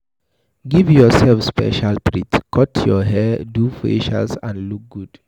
Give yourself special treat, cut your hair, do facials and look good